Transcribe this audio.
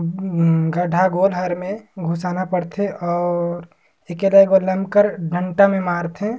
उम्म गड्ढा गो घर मे घुसाना पड़थे और एके दर लम कर डँठा मे मार थे।